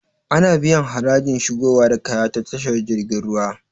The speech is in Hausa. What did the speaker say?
Ana biyan harajin shigowa da kaya ta tashar jirgin ruwa